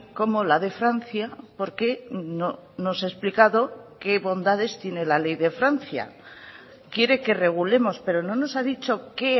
como la de francia porque nos ha explicado qué bondades tiene la ley de francia quiere que regulemos pero no nos ha dicho qué